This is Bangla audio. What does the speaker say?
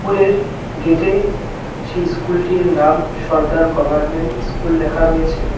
স্কুলের গেটে সেই স্কুলটির নাম সর্দার গভর্নমেন্ট স্কুল লেখা রয়েছে।